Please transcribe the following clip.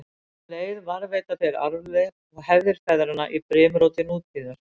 Um leið varðveita þeir arfleifð og hefðir feðranna í brimróti nútíðar.